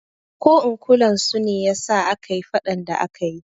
Ko in kulan su ne yasa akayi faɗan da akayi